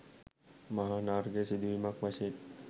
මහානර්ඝ සිදුවීමක් වශයෙන්